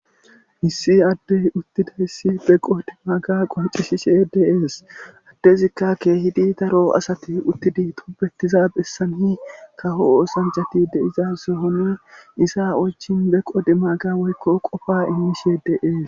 Issi addey uttida hissi beqo dimaaga qoncishishe de7ees addezikka keehidi daro asati uttidi tobetiza bessanii kaho oosanjati de7iza sohoni isa oychin beqo dimaaga woykko qofa immishe de7ees.